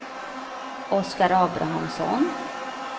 Oskar Abrahamsson